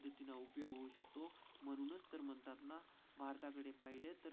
अर्थाकडे पाहिले तर भारतात.